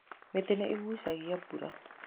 Mĩtĩ nĩ ĩgucagia mbura.